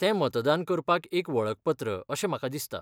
तें मतदान करपाक एक वळखपत्र अशें म्हाका दिसता.